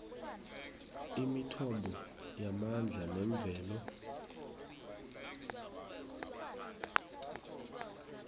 imithombo yamandla wemvelo